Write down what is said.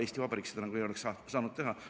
Eesti Vabariigis seda ei oleks saanud teha.